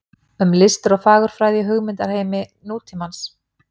Um listir og fagurfræði í hugmyndaheimi nútímans.